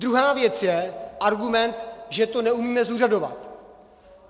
Druhá věc je argument, že to neumíme zúřadovat.